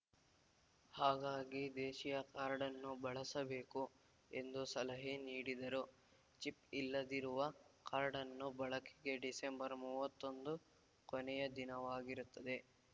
ಹಾಗಾಗಿ ದೇಶೀಯ ಕಾರ್ಡ್‌ನ್ನು ಬಳಸಬೇಕು ಎಂದು ಸಲಹೆ ನೀಡಿದರು ಚಿಪ್‌ ಇಲ್ಲದಿರುವ ಕಾರ್ಡ್‌ನ್ನು ಬಳಕೆಗೆ ಡಿಸೆಂಬರ್‌ ಮೂವತ್ತೊಂದು ಕೊನೆಯ ದಿನವಾಗಿರುತ್ತದೆ